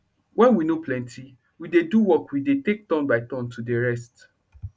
wen we nor plenty wey dey do work we dey take turn by turn to dey rest